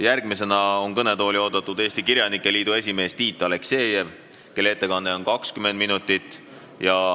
Järgmisena on kõnetooli oodatud Eesti Kirjanike Liidu esimees Tiit Aleksejev, kelle ettekanne on kuni 20 minutit.